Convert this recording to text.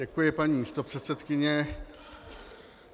Děkuji, paní místopředsedkyně.